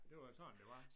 Det var jo sådan det var